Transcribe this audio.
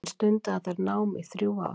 Hann stundaði þar nám í þrjú ár.